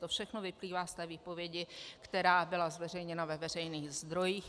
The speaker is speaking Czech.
To všechno vyplývá z té výpovědi, která byla zveřejněna ve veřejných zdrojích.